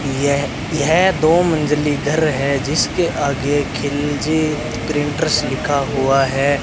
यह यह दो मंजिली घर है जिसके आगे खिलजी प्रिंटर्स लिखा हुआ है।